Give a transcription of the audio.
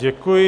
Děkuji.